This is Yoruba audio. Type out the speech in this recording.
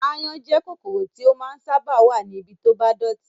Áyán jẹ́ kòkòrò tí ó máa ń sábà wá ní ibi to bá dọ̀tí